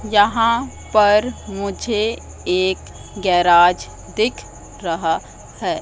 यहां पर मुझे एक गेराज दिख रहा है।